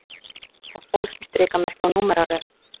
Það fólst í strikamerki og númeraröð